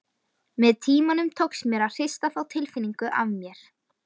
Með tímanum tókst mér að hrista þá tilfinningu af mér.